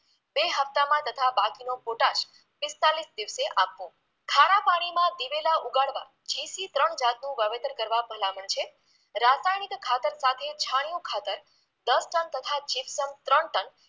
બે હપ્તામાં તથા બાકીનો પોટાશ પિસ્તાલીસ દિવસે આપવો ખારા પાણીમાંં દિવેલા ઉગાડવા GC ત્રણ જાતનું વાવેતર કરવા ભલામણ છે રાસાયણિક ખાતર સાથે છણિયુ ખાતર દસ ટન તથા જિપ્સમ ત્રણ ટન